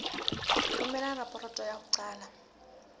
romela raporoto ya ho qala